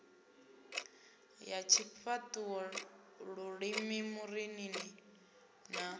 ya tshifhaṱuwo lulimi marinini na